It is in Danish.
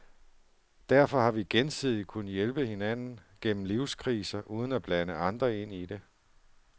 Derfor har vi gensidigt kunnet hjælpe hinanden gennem livskriser uden at blande andre ind i det.